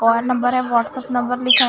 और नंबर है WhatsApp number लिखा--